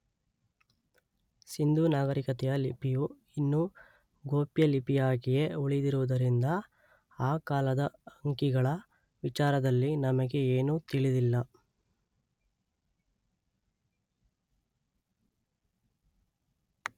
ಸಿಂಧೂ ನಾಗರಿಕತೆಯ ಲಿಪಿಯು ಇನ್ನೂ ಗೋಪ್ಯಲಿಪಿಯಾಗಿಯೇ ಉಳಿದಿರುವುದರಿಂದ ಆ ಕಾಲದ ಅಂಕಿಗಳ ವಿಚಾರದಲ್ಲಿ ನಮಗೆ ಏನೂ ತಿಳಿದಿಲ್ಲ.